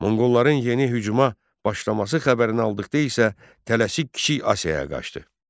Monqolların yeni hücuma başlaması xəbərini aldıqda isə tələsik Kiçik Asiyaya qaçdı.